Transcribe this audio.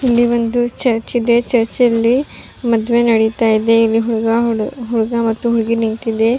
ಇಲ್ಲಿ ಒಂದು ಚರ್ಚ್ ಇದೆ ಚರ್ಚ್ ಅಲ್ಲಿ ಮದುವೆ ನಡಿತಾ ಇದೆ ಇಲ್ಲಿ ಹುಡ್ಗ ಹುಡ್ಗಾ ಮತ್ತು ಹುಡ್ಗಿ ನಿಂತಿದೆ.